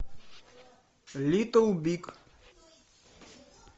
литл биг